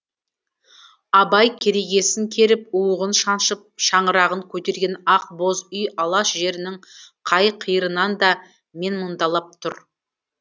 абай керегесін керіп уығын шаншып шаңырағын көтерген ақ боз үй алаш жерінің қай қиырынан да менмұндалап тұр